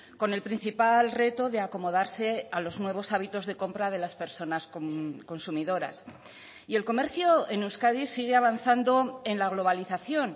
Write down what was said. con el principal reto de acomodarse a los nuevos hábitos de compra de las personas consumidoras y el comercio en euskadi sigue avanzando en la globalización